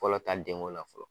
Fɔlɔ ta denko la fɔlɔ